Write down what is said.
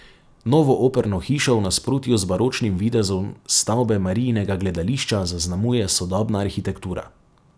Novo operno hišo v nasprotju z baročnim videzom stavbe Mariinskega gledališča zaznamuje sodobna arhitektura.